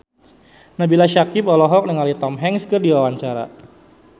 Nabila Syakieb olohok ningali Tom Hanks keur diwawancara